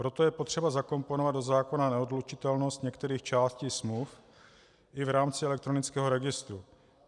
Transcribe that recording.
Proto je potřeba zakomponovat do zákona neodlučitelnost některých částí smluv i v rámci elektronického registru.